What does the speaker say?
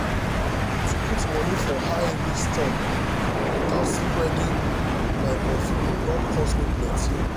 to put money for high-risk stocks without spreading my portfolio don cost me plenty.